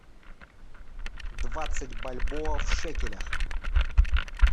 двадцать бальбоа в шекелях